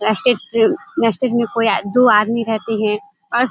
दू आदमी रहते हैं और --